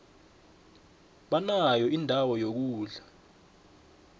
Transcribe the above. banayo indawo yokulala